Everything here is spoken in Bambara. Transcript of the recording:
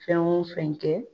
Fɛn wo fɛn kɛ